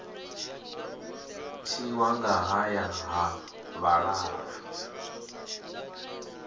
tiwa nga haya ha vhalala